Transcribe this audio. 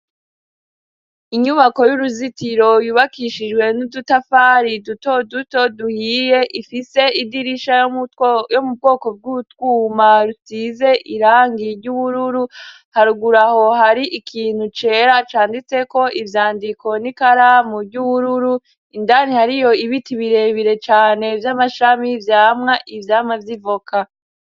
Inyubako y'uruzitiro yubakishijwe n'udutafari dutoduto duhiye ifise idirisha yo mu bwoko bw'utwuma rutize irangi ry'ubururu haruguru aho hari ikintu cera canditseko ivyandiko n'ikaramu ry'ubururu indani hariyo ibiti birebire cane vy'amashami vyama ivyamwa vy'ivoka.